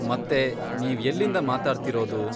ಮತ್ತೆ, ನೀವ್ ಎಲ್ಲಿಂದ ಮಾತಾಡ್ತಿರೋದು?